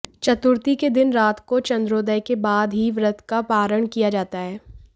चतुर्थी के दिन रात को चंद्रोदय के बाद ही व्रत का पारण किया जाता है